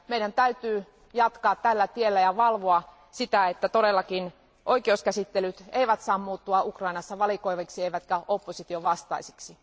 Meidän täytyy jatkaa tällä tiellä ja valvoa sitä, että todellakin oikeuskäsittelyt eivät saa muuttua Ukrainassa valikoiviksi eivätkä opposition vastaisiksi.